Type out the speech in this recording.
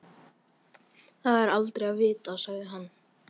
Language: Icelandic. Það er aldrei að vita sagði hann.